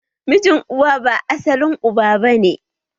Mijin uwa ba asalin uba bane